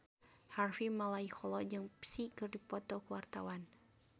Harvey Malaiholo jeung Psy keur dipoto ku wartawan